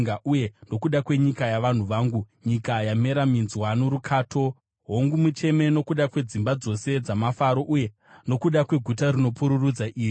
uye nokuda kwenyika yavanhu vangu, nyika yamera minzwa norukato, hongu, mucheme nokuda kwedzimba dzose dzamafaro, uye nokuda kweguta rinopururudza iri.